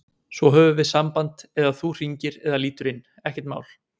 Svo höfum við samband eða þú hringir eða lítur inn, ekkert mál.